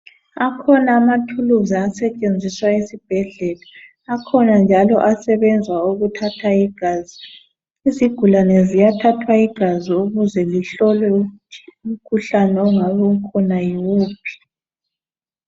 Akhona amaphilisi asetshenziswa esibhedlela akhona njalo asebenza ukuthatha igazi izigulane ziyathathwa igazi ukuze lihlolwe ukuthi umkhuhlane ongabe ukhona yuwuphi